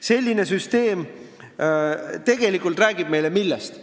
Selline süsteem tegelikult räägib meile millest?